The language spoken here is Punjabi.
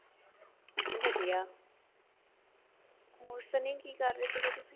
ਵਧੀਆਂ